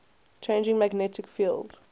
changing magnetic field